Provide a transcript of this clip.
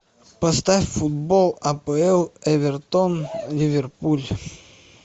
поставь футбол апл эвертон ливерпуль